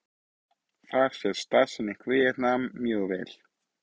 þar sést staðsetning víetnam mjög vel